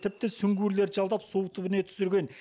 тіпті сүңгуірлерді жалдап су түбіне түсірген